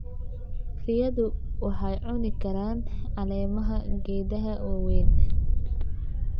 Riyadu waxay cuni karaan caleemaha geedaha waaweyn.